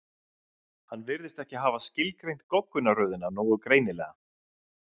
Hann virðist ekki hafa skilgreint goggunarröðina nógu greinilega.